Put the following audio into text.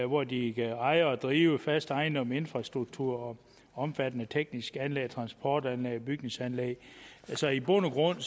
hvori de kan eje og drive fast ejendom infrastruktur og omfattende tekniske anlæg transportanlæg og bygningsanlæg så i bund og grund